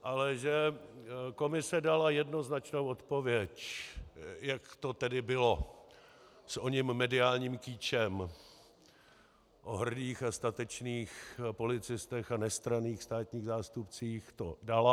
Ale že komise dala jednoznačnou odpověď, jak to tedy bylo s oním mediálním kýčem o hrdých a statečných policistech a nestranných státních zástupcích, to dala.